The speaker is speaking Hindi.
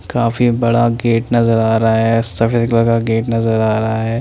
काफी बड़ा गेट नज़र आ रहा है सफेद कलर का गेट नज़र आ रहा है।